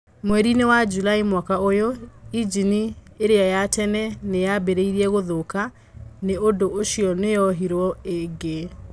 Mweri-inĩ wa Julaĩ mwaka ũyũ, injini ĩrĩa ya tene nĩ yambĩrĩirie gũthũka. Nĩ ũndũ ũcio nĩ yohirwo ĩngĩ.